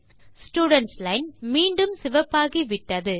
students line மீண்டும் சிவப்பாகிவிட்டது